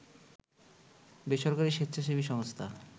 বেসরকারি স্বেচ্ছাসেবী সংস্থা